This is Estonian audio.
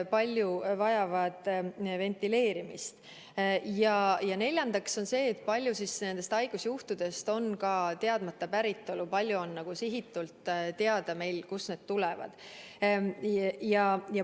Ja neljas on see, kui paljud haigusjuhtudest on teadmata päritolu ja kui paljude puhul on teada, kust nakkus tuli.